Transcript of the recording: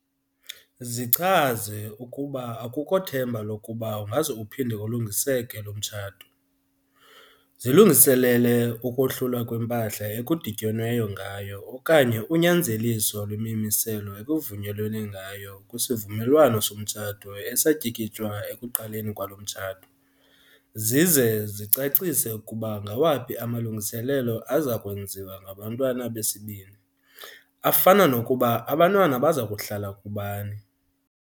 Zichaze ukuba akukho themba lokuba ungaze uphinde ulungiseke lo mtshato, zilungiselele ukohlulwa kwempahla ekudityenweyo ngayo okanye unyanzeliso lwemimiselo ekuvunyelwene ngayo kwisivumelwano somtshato esatyikitywa ekuqalweni kwalo mtshato, zize zicacise ukuba ngawaphi amalungiselelo aza kwenziwa ngabantwana besisibini, afana nokuba abantwana baza kuhlala kubani.